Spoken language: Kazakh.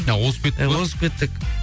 а озып кеттік па озып кеттік